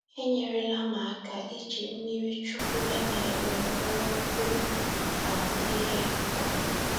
enyerela m aka iji mmirichukwu e mere m kpọrọkwuo um ihe. um